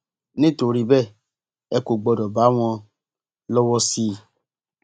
nítorí bẹẹ ẹ kò gbọdọ bá wọn lọwọ sí i